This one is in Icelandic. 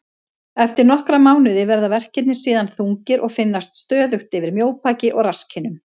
Eftir nokkra mánuði verða verkirnir síðan þungir og finnast stöðugt yfir mjóbaki og rasskinnum.